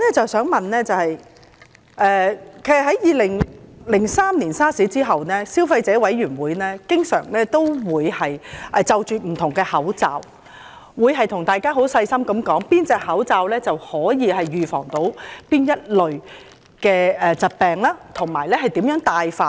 自從2003年 SARS 之後，消費者委員會不時會就各類口罩發表專題，詳細分析哪種口罩能預防哪類疾病，並指出正確的佩戴方法。